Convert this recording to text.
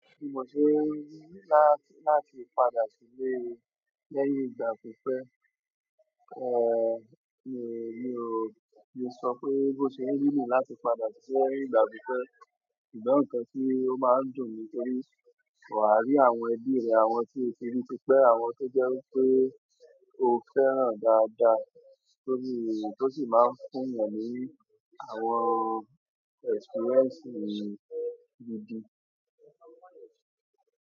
Bí mo sé n wá láti padà síle léhìn ìgbà pí pé, mi ò lè so pé bó se n rí nìyen láti ìgbà pí pé ṣùgbọ́n nǹkan tí ó máa ń dùn ni torí, wà á rí àwọn ẹbí rẹ, àwọn tí o ti rí tipẹ́, àwọn tó jẹ́ wí pé o fẹ́ràn dáadáa, torí tó sì máa ń fún 'yàn ní àwọn èkspírẹ́ǹsì gidi.